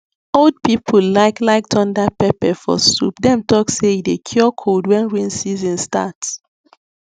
old people like like thunder pepper for soup dem talk say e dey cure cold when rain season start